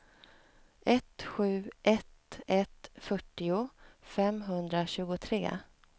ett sju ett ett fyrtio femhundratjugotre